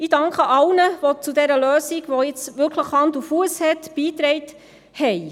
Ich danke allen, die zu dieser Lösung, die jetzt wirklich Hand und Fuss hat, beigetragen haben.